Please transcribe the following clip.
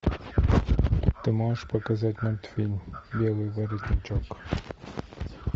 ты можешь показать мультфильм белый воротничок